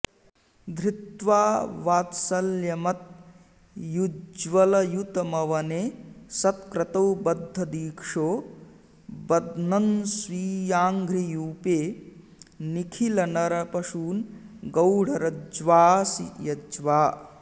धृत्वा वात्सल्यमत्युज्ज्वलयितुमवने सत्क्रतौ बद्धदीक्षो बध्नन्स्वीयाङ्घ्रियूपे निखिलनरपशून् गौणरज्ज्वाऽसि यज्वा